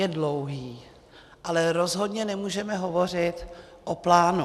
Je dlouhý, ale rozhodně nemůžeme hovořit o plánu.